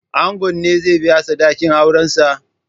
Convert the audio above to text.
Ango ne zai biya sadakin aurensa?